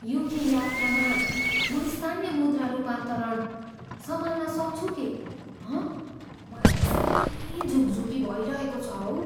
UK यात्रामा म स्थानीय मुद्रा रूपान्तरण सम्हाल्न सक्छु के, हँ? मलाई त साह्रै झुकझुकी भइरहेको छ हौ।